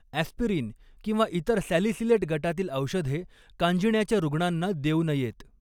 Aspirin किंवा इतर salicylate गटातील औषधे कांजिण्याच्या रुग्णांना देऊ नयेत.